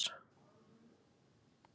Verðlaunin verða afhent í mars